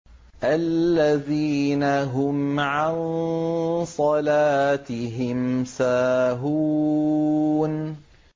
الَّذِينَ هُمْ عَن صَلَاتِهِمْ سَاهُونَ